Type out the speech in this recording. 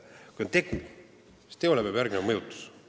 Kui on tegu, siis teole peab järgnema mõjutus.